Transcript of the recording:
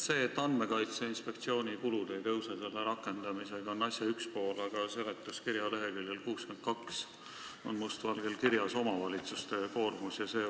See, et Andmekaitse Inspektsiooni kulud selle seaduse rakendamise tõttu ei suurene, on asja üks pool, aga seletuskirja leheküljel 62 on must valgel kirjas omavalitsuste koormus.